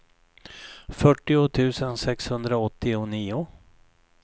fyrtio tusen sexhundraåttionio